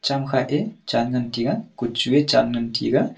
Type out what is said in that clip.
kam khak a chen ngan tega kochu a chen ngan tega.